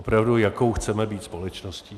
Opravdu, jakou chceme být společností?